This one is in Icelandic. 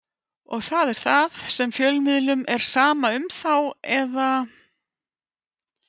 Og það er það sem fjölmiðlum er sama um þá eða?